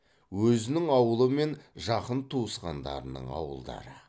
өзінің ауылы мен жақын туысқандарының ауылдары